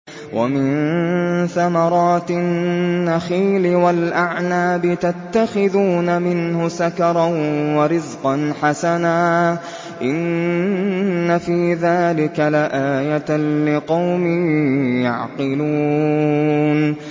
وَمِن ثَمَرَاتِ النَّخِيلِ وَالْأَعْنَابِ تَتَّخِذُونَ مِنْهُ سَكَرًا وَرِزْقًا حَسَنًا ۗ إِنَّ فِي ذَٰلِكَ لَآيَةً لِّقَوْمٍ يَعْقِلُونَ